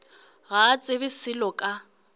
ga a tsebe selo ka